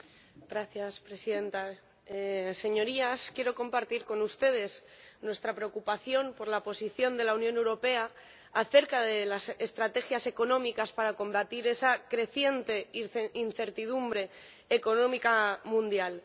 Señora Presidenta, Señorías, quiero compartir con ustedes nuestra preocupación por la posición de la Unión Europea acerca de las estrategias económicas para combatir esa creciente incertidumbre económica mundial.